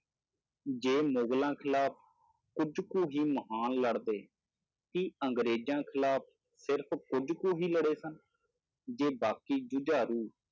ਜੇ ਮੁਗ਼ਲਾਂ ਖਿਲਾਫ਼ ਕੁੱਝ ਕੁ ਹੀ ਮਹਾਨ ਲੜਦੇ, ਕੀ ਅੰਗਰੇਜ਼ਾਂ ਖਿਲਾਫ਼ ਸਿਰਫ਼ ਕੁੱਝ ਕੁ ਹੀ ਲੜੇ ਸਨ, ਜੇ ਬਾਕੀ ਜੁਝਾਰੂ